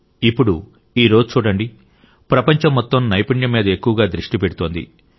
ఇప్పుడు ఈ రోజు చూడండి ప్రపంచం మొత్తం నైపుణ్యం మీద ఎక్కువగా దృష్టి పెడుతోంది